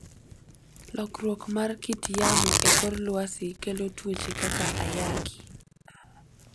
Lokruok mar kit yamo e kor lwasi kelo tuoche kaka ayaki.